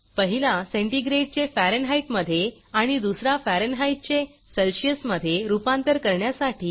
पहिला सेंटीग्रेडचे फॅरनहाइटमधे आणि दुसरा फॅरनहाइटहीटचे सेल्सियसमधे रूपांतर करण्यासाठी